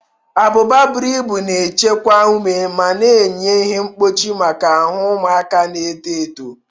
Abụba buru ibu na-echekwa ume ma na-enye ihe mkpuchi maka ahụ ụmụaka na-eto eto.